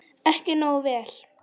Ekki nógu vel.